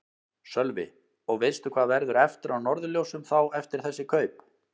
Sölvi: Og veistu hvað verður eftir af Norðurljósum þá eftir þessi kaup?